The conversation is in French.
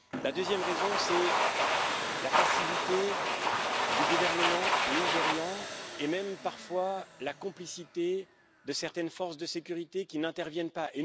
La deuxième raison, c'est la passivité du gouvernement nigérian et même parfois la complicité de certaines forces de sécurité, qui n'interviennent pas.